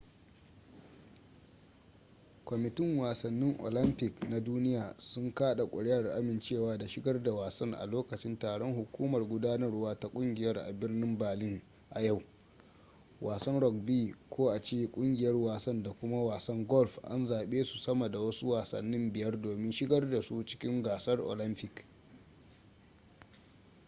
kwamitin wasannin olympic na duniya sun kada kuri'ar amincewa da shigar da wasan a lokacin taron hukumar gudanarwa ta kungiyar a birnin berlin a yau wasan rugby ko a ce kungiyar wasan da kuma wasan golf an zabe su sama da wasu wasannin biyar domin shigar da su cikin gasar olympic